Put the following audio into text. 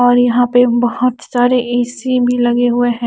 और यहा पे बोहोत सारे ए_सी भी लगे हुए है ।